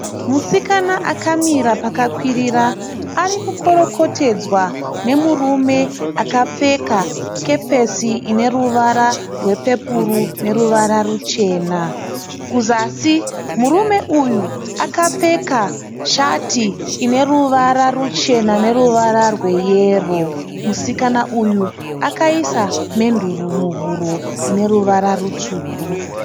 Musikana akamira pakakwirira. Ari kukorokotedzwa nemurume akapfeka kepesi ine ruvara rwepepuro neruvara ruchena. Kuzasi murume uyu akapfeka shati ine ruvara ruchena neruvara rwe yero. Musikana uyu akaisa menduru muhuro ine ruvara rutsvuku.